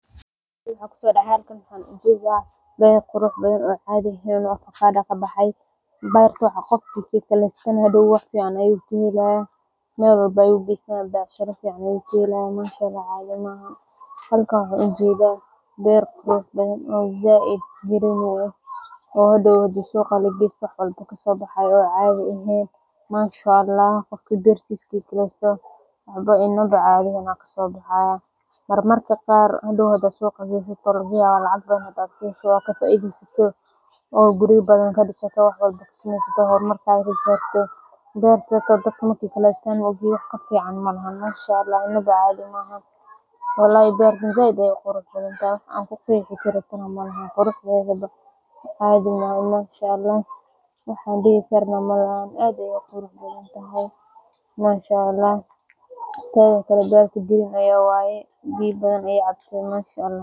Sida ugu wanaagsan ee loo goosan karo baaqada si looga fogaado waxyeello waa in la adeegsado farsamooyin badbaado leh oo taxadar iyo xirfad ku dhisan. Marka hore, waxaa muhiim ah in la isticmaalo qalab nadiif ah oo fiiqan sida mindi ama maqas gaar ah oo loogu talagalay goosashada, si aanay baaqadu uga noqonin dilaac ama dhaawac keeni kara cudur ama dhaawac dalagga ah, aad ayey u qurux badan tahay.